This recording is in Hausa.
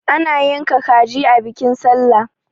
ana yanka kaji a bikin sallah